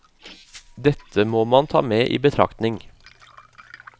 Dette må man ta med i betraktning.